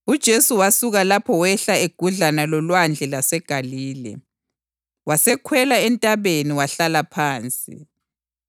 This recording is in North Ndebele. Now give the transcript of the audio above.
UJesu wasuka lapho wehla egudlana loLwandle lwaseGalile. Wasekhwela entabeni wahlala phansi.